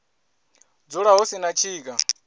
dzula hu si na tshika